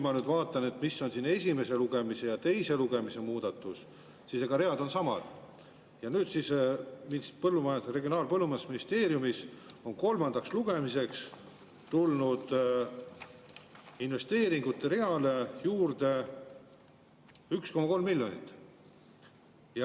Ma nüüd vaatan, mis on esimese lugemise ja teise lugemise muudatus, read on samad, aga Regionaal‑ ja Põllumajandusministeeriumis on kolmandaks lugemiseks tulnud investeeringute reale juurde 1,3 miljonit.